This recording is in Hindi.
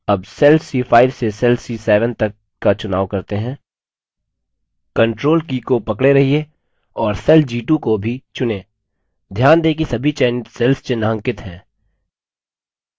अब cells c5 से cells c7 तक का चुनाव करते हैं ctrl की को पकड़े रहिये और cells g2 को भी चुनें ध्यान दें कि सभी चयनित cells चिन्हांकित हैं